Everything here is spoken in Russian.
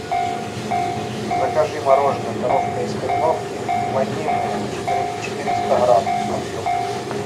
закажи мороженое коровка из кореновки ванильное четыреста грамм объем